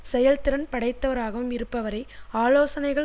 செயல்திறன் படைத்தவராகவும் இருப்பவரே ஆலோசனைகள்